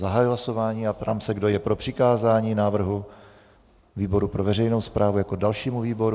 Zahajuji hlasování a ptám se, kdo je pro přikázání návrhu výboru pro veřejnou správu jako dalšímu výboru.